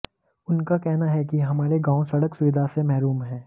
उनका कहना है कि हमारे गांव सड़क सुविधा से महरूम हैं